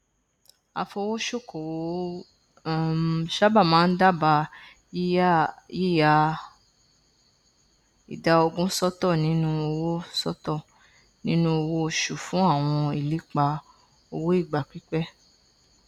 afowósókowò um sábà máa n dábàá yíya ìdá ogún sọtọ nínú owó sọtọ nínú owó oṣù fún àwọn ìlépa owó ìgbà pípẹ